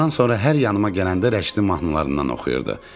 Ondan sonra hər yanıma gələndə Rəşidin mahnılarından oxuyurdu.